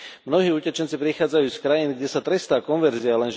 Mnohí utečenci prichádzajú z krajín, kde sa trestá konverzia.